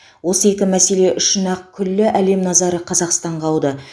осы екі мәселе үшін ақ күллі әлем назары қазақстанға ауды